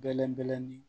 Bɛlɛn bɛlɛnin